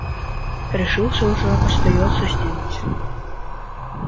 решился уже остаётся сделать